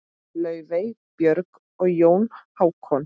Laufey, Björg og Jón Hákon.